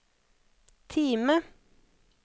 Time